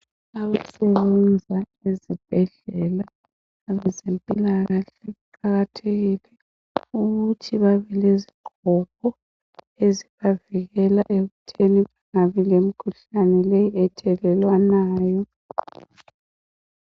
Abasebenza ezibhedlela abezempilakahle kuqakathekile ukuthi babelezigqoko ezibavikela ekuthini babelemkhuhlane ethelelwanayo.